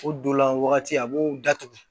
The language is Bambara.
O don la wagati a b'o datugu